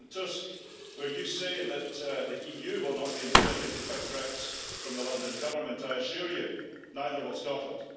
President Tusk, when you say that the EU will not be intimidated by threats from the London Government, I assure you, neither will Scotland.